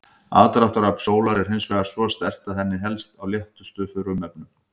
Aðdráttarafl sólar er hins vegar svo sterkt að henni helst á léttustu frumefnunum.